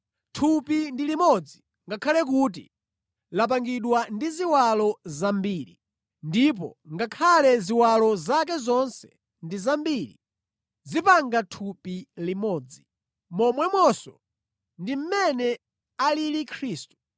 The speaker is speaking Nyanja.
Thupi ndi limodzi, ngakhale kuti lapangidwa ndi ziwalo zambiri. Ndipo ngakhale ziwalo zake zonse ndi zambiri, zimapanga thupi limodzi. Momwemonso ndi mmene alili Khristu.